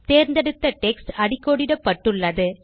தேர்ந்தெடுத்த டெக்ஸ்ட் அடிக்கோடிடப்பட்டுள்ளது